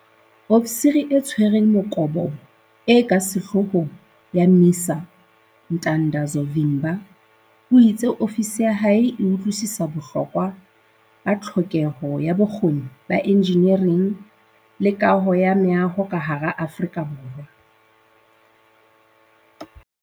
Ofisiri e Tshwereng Mokobobo e ka Sehloohong ya MISA Ntandazo Vimba o itse ofisi ya hae e utlwisisa bohlokwa ba tlhokeho ya bokgoni ba enjinering le kaho ya meaho ka hara Aforika Borwa.